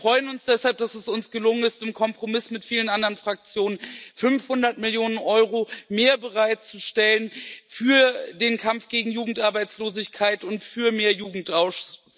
Wir freuen uns deshalb, dass es uns gelungen ist, im Kompromiss mit vielen anderen Fraktionen 500 Millionen EUR mehr bereitzustellen für den Kampf gegen Jugendarbeitslosigkeit und für mehr Jugendaustausch.